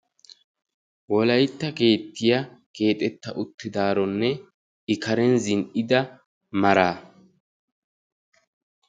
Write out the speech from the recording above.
Wolaytta keettiya keexxetta uttidaaronne I karen zin"ida maraa.